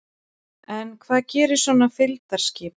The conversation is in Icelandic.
En hvað gerir svona fylgdarskip?